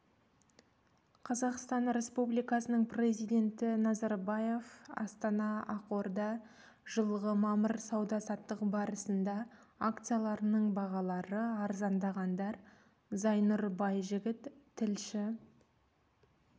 қазақстан республикасының президенті назарбаев астана ақорда жылғы мамыр сауда-саттық барысында акцияларының бағалары арзандағандар зайнұр байжігіт тілші